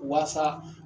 Waasa